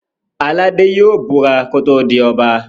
Aládé yóò búra kí ó tó di Ọba